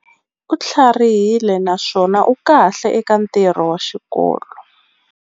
U tlharihile naswona u kahle eka ntirho wa xikolo.